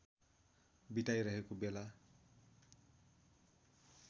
बिताइरहेको बेला